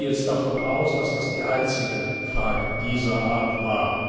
Ich gehe jetzt davon aus, dass das die einzige Frage dieser Art war.